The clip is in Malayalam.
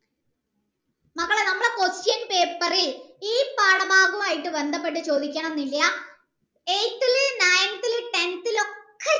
മക്കളെ നമ്മളെ question paper ഇൽ ഈ പാഠഭാഗമായിട്ട് ബന്ധപെട്ട് ചോദിക്കണം ഇല്ല eighth ലെ ninth ലെ tenth ലെ ഒക്കെ